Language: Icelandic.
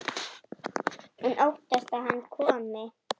Hún óttast að hann komi.